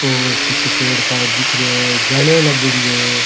और पीछे पेड़ पाड़ दिख रहे है जालियां लागेड़ी है।